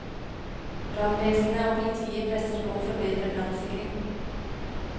Brannvesenet og politiet presser på for bedre brannsikring.